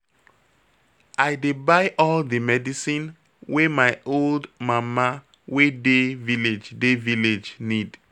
I dey buy all di medicine wey my old mama wey dey village dey village need.